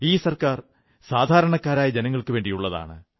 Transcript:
ഈ സർക്കാർ സാധാരണക്കാരായ ജനങ്ങൾക്കുവേണ്ടിയുള്ളതാണ്